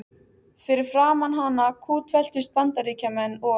Fyrir framan hana kútveltust Bandaríkjamenn og